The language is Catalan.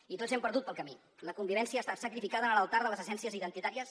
i tots hi hem perdut pel camí la convivència ha estat sacrificada en l’altar de les essències identitàries